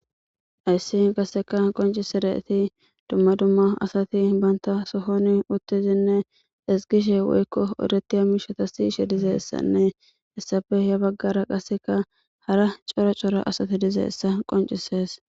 Haysi qaseka qoncisidayt dumma dumma asati banta sohon utidinne ezigishe woyko odetiya mishata siyishe dizaysanne hegappe ya bagara qaseka hara cora Cora asti dizaysa qoncises.